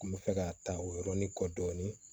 N kun bɛ fɛ ka ta o yɔrɔnin kɔ dɔɔnin